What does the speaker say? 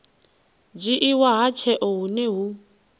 dzhiiwa ha tsheo hune hu